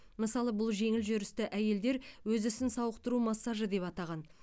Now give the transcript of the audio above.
мысалы бұл жеңіл жүрісті әйелдер өз ісін сауықтыру массажы деп атаған